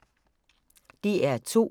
DR2